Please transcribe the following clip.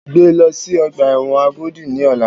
Gbé lọ sí ọgbà ẹ̀wọ̀n Agodi ní ọ̀la!